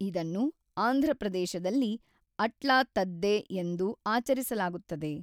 ಇದನ್ನು ಆಂಧ್ರಪ್ರದೇಶದಲ್ಲಿ ಅಟ್ಲಾ ತದ್ದೆ ಎಂದು ಆಚರಿಸಲಾಗುತ್ತದೆ.